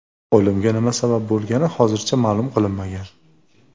O‘limga nima sabab bo‘lgani hozircha ma’lum qilinmagan.